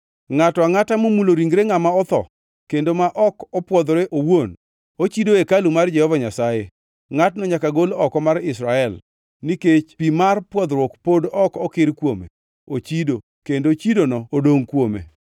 Ngʼato angʼata momulo ringre ngʼama otho kendo ma ok opwodhore owuon ochido hekalu mar Jehova Nyasaye. Ngʼatno nyaka gol oko mar Israel. Nikech pi mar pwodhruok pod ok okir kuome, ochido; kendo chidono odongʼ kuome.